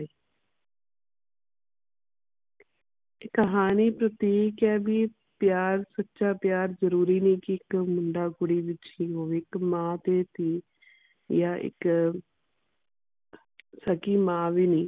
ਇਹ ਕਹਾਣੀ ਪ੍ਰਤੀਕ ਹੈ ਵੀ ਪਿਆਰ ਸੱਚਾ ਪਿਆਰ ਜਰੂਰੀ ਨਹੀਂ ਕਿ ਇਕ ਮੁੰਡਾ ਕੁੜੀ ਵਿਚ ਹੀ ਹੋਵੇ ਇਹ ਮਾਂ ਤੇ ਧੀ ਯਾ ਇਕ ਸੱਗੀ ਮਾਂ ਵੀ ਨਹੀਂ